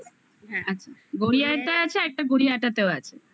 গড়িয়ারটা আছে আরেকটা গড়িয়াহাটেও আছে. অ্যা